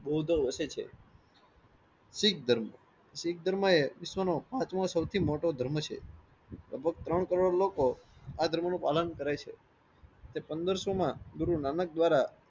બૌધો વસે છે. શીખ ધર્મ શીખ ધર્મ એ વિશ્વ નો પાંચમો સૌથી મોટો ધર્મ છે. લગભગ ત્રણ કરોડ લોકો આ ધર્મ નો પાલન કરે છે. પંદરસોમાં ગુરુ નાનક દ્વારા